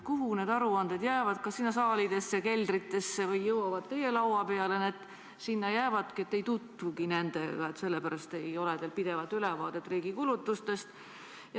Kuhu need aruanded jäävad, kas sinna saalidesse ja keldritesse, või jõuavad teie laua peale ja need sinna jäävadki ning te ei tutvugi nendega ja sellepärast ei ole teil pidevat ülevaadet riigi kulutustest?